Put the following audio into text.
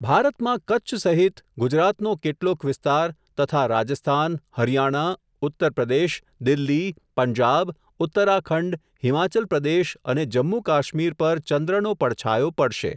ભારતમાં કચ્છ સહિત ગુજરાતનો કેટલોક વિસ્તાર તથા રાજસ્થાન, હરિયાણા, ઉત્તર પ્રદેશ, દિલ્હી, પંજાબ, ઉત્તરાખંડ, હિમાચલ પ્રદેશ અને જમ્મુ કાશ્મીર પર ચંદ્રનો પડછાયો પડશે.